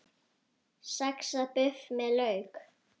Saxað buff með lauk